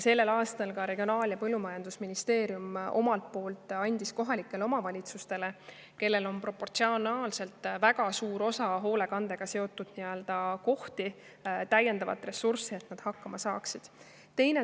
Tänavu andis ka Regionaal- ja Põllumajandusministeerium omalt poolt kohalikele omavalitsustele, kellel on proportsionaalselt väga suur arv hoolekandekohti, täiendavat ressurssi, et nad hakkama saaksid.